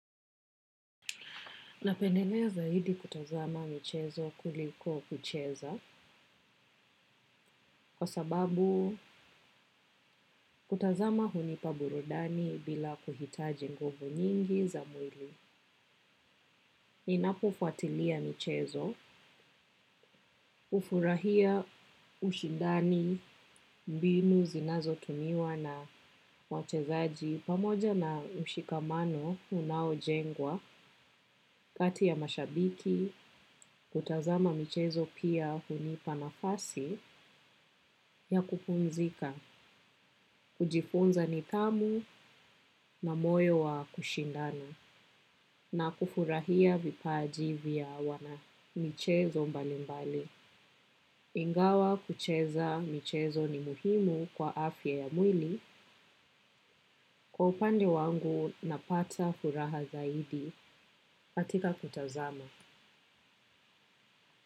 Napendelea zaidi kutazama michezo kuliko kucheza kwa sababu kutazama hunipa burudani bila kuhitaji nguvu nyingi za mwili. Inapofuatilia michezo, hufurahia ushindani mbinu zinazotumiwa na wachezaji pamoja na mshikamano unaojengwa, kati ya mashabiki, kutazama michezo pia hunipa nafasi ya kupumzika, kujifunza nidhamu na moyo wa kushindana na kufurahia vipaji vya wanamichezo mbalimbali. Ingawa kucheza michezo ni muhimu kwa afya ya mwili kwa upande wangu napata furaha zaidi hatika kutazama.